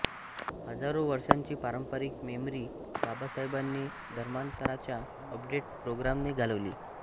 हजारो वर्षांची पारंपरिक मेमरी बाबासाहेबांनी धर्मांतराच्या अपडेट प्रोग्रामने घालवली